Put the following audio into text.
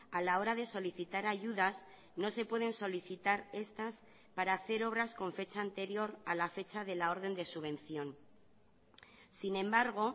a la hora de solicitar ayudas no se pueden solicitar estas para hacer obras con fecha anterior a la fecha de la orden de subvención sin embargo